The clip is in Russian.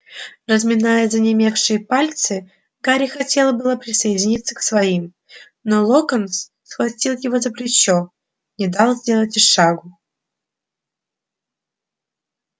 разминая занемевшие пальцы гарри хотел было присоединиться к своим но локонс схватив его за плечо не дал сделать и шагу